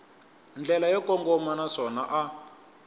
ndlela yo kongoma naswona a